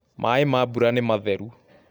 maaĩ ma bura nĩ matheru